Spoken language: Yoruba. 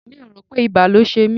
Mi ò rò pé ibà ló ṣe mí.